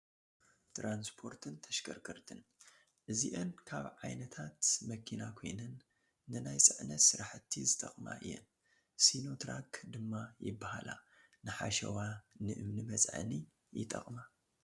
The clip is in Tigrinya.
ትራንስፖርትን ተሽከርከርትን፡- እዚአን ካብ ዓይነታ መኪና ኮይነን ንናይ ፅዕነት ስራሕቲ ዝጠቕማ እየን፡፡ ሲኖ ትራክ ድማ ይባሃላ፡፡ ንሓሸዋ፣ ንእምኒ መፅዓኒ ይጠቕማ፡፡